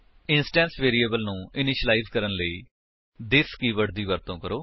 instance variables ਨੂੰ initialise ਕਰਨ ਲਈ ਥਿਸ ਕੀਵਰਡ ਦੀ ਵਰਤੋ ਕਰੋ